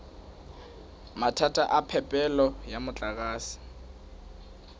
mathata a phepelo ya motlakase